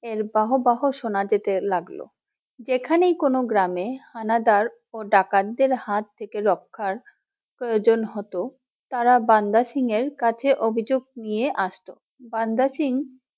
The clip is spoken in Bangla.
এর বাহ বাহ সোনা যেতে লাগলো যেখানেই কোন গ্রামে হানাদার ও ডাকাতদের হাত থেকে রক্ষার প্রয়োজন হত তারা বান্দা সিং এর কাছে অভিযোগ নিয়ে আসত